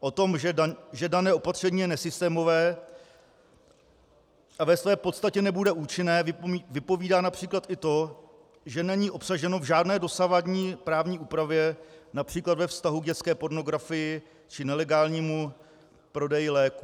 O tom, že dané opatření je nesystémové a ve své podstatě nebude účinné, vypovídá například i to, že není obsaženo v žádné dosavadní právní úpravě, například ve vztahu k dětské pornografii či nelegálnímu prodeji léků.